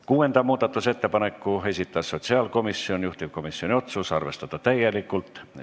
Kuuenda muudatusettepaneku on esitanud sotsiaalkomisjon, juhtivkomisjoni otsus on arvestada täielikult.